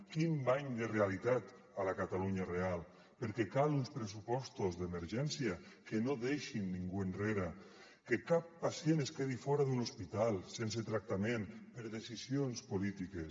quin bany de realitat a la catalunya real perquè calen uns pressupostos d’emergència que no deixin ningú enrere que cap pacient es quedi fora d’un hospital sense tractament per decisions polítiques